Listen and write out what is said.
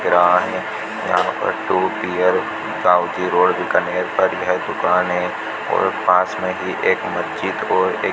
यहां पर two tier दाउती रोड करी है यह दूकान है और पास में ही एक मस्जिद और एक --